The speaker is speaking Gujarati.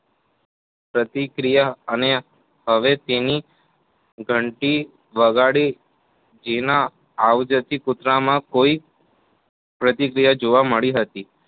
પ્રતિક્રિયા અને હવે તેની ઘંટી વગાડી જેના અવાજ થી કૂતરામાં કોઈ પ્રતિક્રિયા જોવા મળી હતી.